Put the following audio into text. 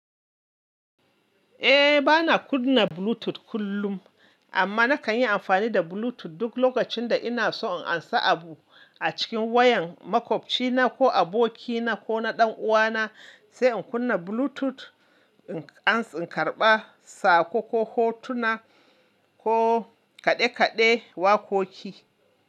Eh, bana kunna Bluetooth kullum, amma nakan yi amfani da Bluetooth duk lokacin da ina so in ansa abu a cikin wayan makwabcina ko abokina ko na ɗan uwana, sai in kunna Bluetooth, in an karɓa sako ko hotuna ko kaɗe-kaɗe wakoki.